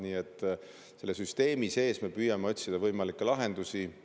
Nii et me püüame süsteemi sees otsida võimalikke lahendusi.